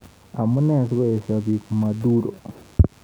Amune sikoeshoi bik Maduro?